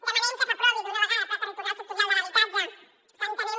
demanem que s’aprovi d’una vegada el pla territorial sectorial de l’habitatge que entenem